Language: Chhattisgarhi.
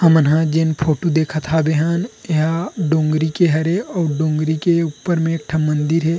अ मनहा जेन फोटो देखत हबै हन एहा डोंगरी के हरे अउ डोंगरी के ऊपर मे एकठ मन्दिर हे।